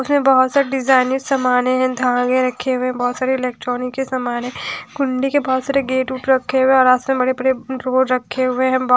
उसमें बहुत सारे डिजाइनर सामान है धागे रखे हुए हैं बहुत सारे इलेक्ट्रॉनिक के सामान है गुंडी के बहुत सारे गेट उट रखे हुए हैं और आस में बड़े बड़े रोड रखे हुए हैं ब --